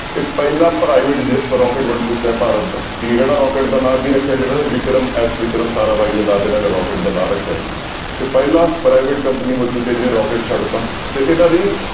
ਇਹ ਪਹਿਲਾ private ਜੈ ਰੋਕੇਟ ਬਣ ਚੁੱਕਾ ਹੈ ਭਾਰਤ ਦਾ ਕੀ ਇਹਦਾ ਰੋਕੇਟ ਦਾ ਨਾਂ ਕੀ ਰੱਖਿਆ ਸੀ ਇਹਨਾਂ ਨੇ ਵਿਕਰਮ ਐਸ ਵਿਕਰਮ ਸਾਰਾ ਬਾਈ ਦੇ ਨਾਮ ਤੇ ਇਹਨਾਂ ਨੇ ਰੋਕੇਟ ਦਾ ਨਾਂ ਰੱਖਿਆ ਸੀ ਤੇ ਪਹਿਲਾ private company ਹੋ ਚੁੱਕੀ ਹੈ ਜਿਹਨੇ ਰੋਕੇਟ ਛੱਡ ਦਿੱਤਾ ਤੇ ਇਹਨਾਂ ਦੀ